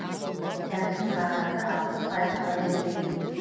сәбіздің бағасы алпыс пайызға өскен